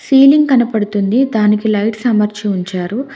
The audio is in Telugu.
సీలింగ్ కనపడుతుంది దానికి లైట్ అమర్చి ఉంచారు.